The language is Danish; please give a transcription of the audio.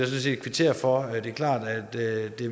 set kvittere for det er klart at det